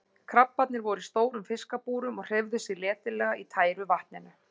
Krabbarnnir voru í stórum fiskabúrum og hreyfðu sig letilega í tæru vatninu.